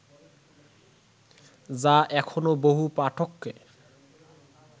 যা এখনও বহু পাঠককে